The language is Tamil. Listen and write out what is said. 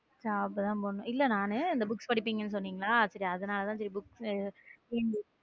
Job தான் போடணும் இல்ல நானு இந்த புக்ஸ் படிப்பீங்கன்னு சொன்னீங்களா சேரிஅதனால தான் புக்ஸ் டிஎன்பிசி.